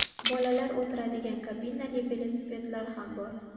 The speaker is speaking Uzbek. Bolalar o‘tiradigan kabinali velosipedlar ham bor.